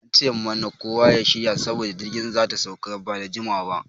An ce mana kowa ya shirya saboda jirgi zata sauka nan bada jimawa ba.